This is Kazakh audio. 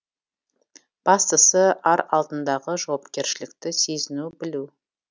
бастысы ар алдындағы жауапкершілікті сезіну білу